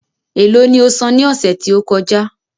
É lo ni osan ní ọ̀sẹ̀ tí ó kọjá?